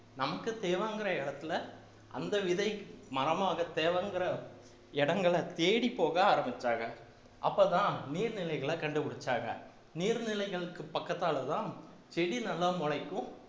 நமக்கு தேவைங்கிற இடத்துல அந்த விதை மரமாக தேவைங்கிற இடங்களை தேடிப்போக ஆரம்பிச்சிட்டாங்க அப்பதான் நீர்நிலைகளை கண்டுபிடிச்சாங்க நீர்நிலைகளுக்கு பக்கத்தாலதான் செடி நல்லா முளைக்கும்